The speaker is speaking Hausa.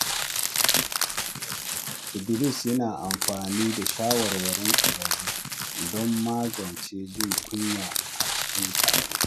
Idris yana amfani da shawarwarin ƙwararru don magance jin kunya a cikin taro.